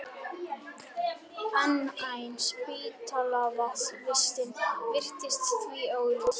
Enn ein spítalavistin virtist því augljós.